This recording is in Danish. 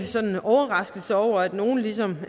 overrasket over at nogle ligesom